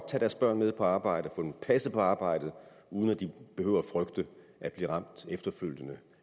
tage deres børn med på arbejde få dem passet på arbejde uden at de behøver at frygte at blive ramt efterfølgende